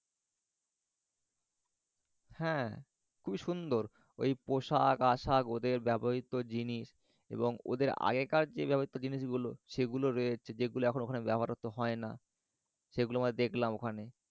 হ্যা। খুবই সুন্দর। ঐ পোশাক আশাক ওদের ব্যবহৃত জিনিস এবং ওদের আগেকার যে ব্যবহৃত জিনিসগুল সেগুলো রয়েছে যেগুলো ওখানে এখন ব্যবহার সাধারণত হয়না সেগুলো মানে দেখলাম ওখানে।